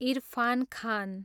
Irfan Khan